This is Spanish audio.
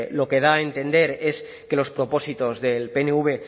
lo que da a entender es que los propósitos del pnv